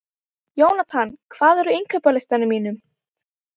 Jónatan, hvað er á innkaupalistanum mínum?